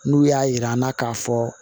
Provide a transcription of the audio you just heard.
N'u y'a yir'an na k'a fɔ